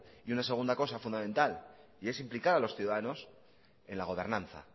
y una segunda cosa fundamental y es implicar a los ciudadanos en la gobernanza